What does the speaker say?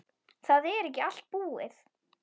Það er ekki allt búið.